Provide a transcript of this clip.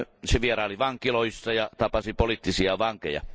Se vieraili vankiloissa ja tapasi poliittisia vankeja.